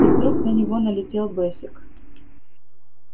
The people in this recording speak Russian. и вдруг на него налетел бэсик